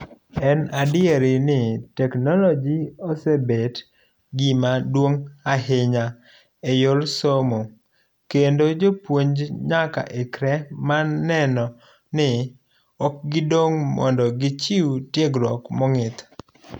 En adier ni teknologi osebet gima duong'ahinya eyor somokendo jopuonj nyaka ikre mar neno mi ok gidong' mondo gichiw tiegruok mong'ith.